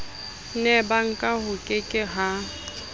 nebank ho ke ke ha